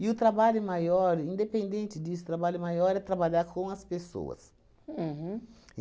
E o trabalho maior, independente disso, trabalho maior é trabalhar com as pessoas. Uhum.